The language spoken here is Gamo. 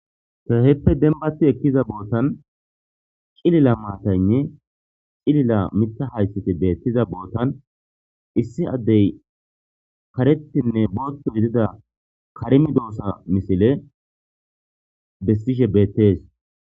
Kehippe dembbatti ekkiza bottan ciilila mataynne ,ciilila miiththa haythey beetiza botan,issi adey kareththine boththu giidida kare medossa misille bessishe beetees.